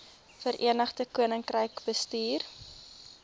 verenigde koninkryk bestuur